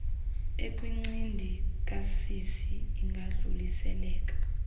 ekwincindi kasisi ingadluliseleka